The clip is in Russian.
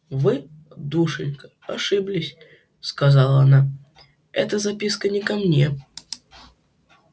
вы душенька ошиблись сказала она эта записка не ко мне